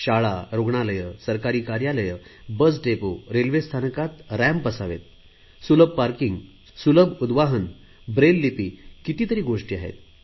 शाळा रुग्णालय सरकारी कार्यालये बस डेपो रेल्वे स्थानकात रॅम्प असावेत सुलभ पार्किंग सुलभ उद्वाहन ब्रेललिपी कितीतरी गोष्टी आहेत